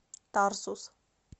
тарсус